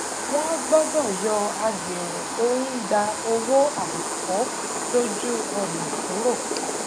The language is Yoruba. wọn gbọdọ yọ agbèrò tó ń gba owó àìtọ lójú ọnà kúrò